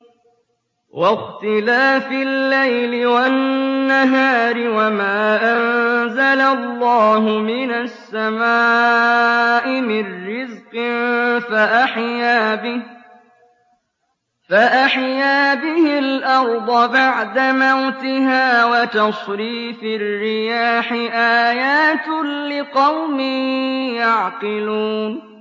وَاخْتِلَافِ اللَّيْلِ وَالنَّهَارِ وَمَا أَنزَلَ اللَّهُ مِنَ السَّمَاءِ مِن رِّزْقٍ فَأَحْيَا بِهِ الْأَرْضَ بَعْدَ مَوْتِهَا وَتَصْرِيفِ الرِّيَاحِ آيَاتٌ لِّقَوْمٍ يَعْقِلُونَ